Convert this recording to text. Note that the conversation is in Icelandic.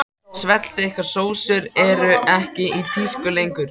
Svellþykkar sósur eru ekki í tísku lengur.